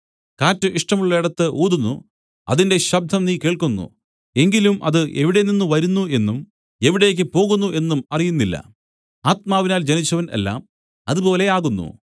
കാറ്റ് ഇഷ്ടമുള്ളേടത്ത് ഊതുന്നു അതിന്റെ ശബ്ദം നീ കേൾക്കുന്നു എങ്കിലും അത് എവിടെനിന്ന് വരുന്നു എന്നും എവിടേക്ക് പോകുന്നു എന്നും അറിയുന്നില്ല ആത്മാവിനാൽ ജനിച്ചവൻ എല്ലാം അതുപോലെ ആകുന്നു